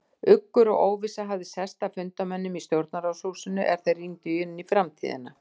Uggur og óvissa hafði sest að fundarmönnum í Stjórnarráðshúsinu, er þeir rýndu inn í framtíðina.